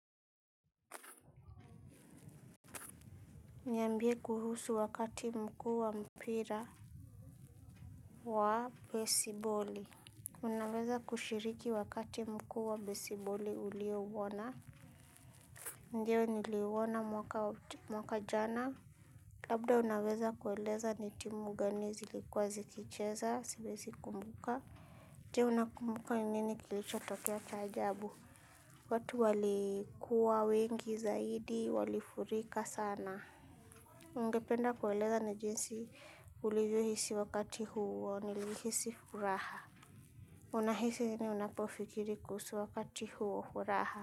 Niambie kuhusu wakati mkuu wa mpira wa besiboli. Unaweza kushiriki wakati mkuu wa besiboli ulio uona. Je, niliuona mwaka jana. Labda unaweza kueleza ni timu gani zilikuwa zikicheza, siwezi kumbuka. Je unakumbuka nini kilicho tokea cha ajabu. Watu walikuwa wengi zaidi, walifurika sana. Ungependa kueleza ni jinsi ulivyo hisi wakati huo? Nilihisi furaha. Unahisi nini unapofikiri kuhusu wakati? Huo furaha.